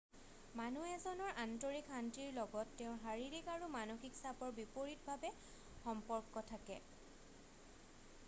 মানুহ এজনৰ আন্তৰিক শান্তিৰ লগত তেওঁৰ শাৰীৰিক আৰু মানসিক চাপৰ বিপৰিতভাৱে সম্পৰ্ক থাকে